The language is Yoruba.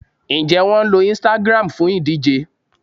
Ǹjẹ́ wọn lo Instagram fún ìdíje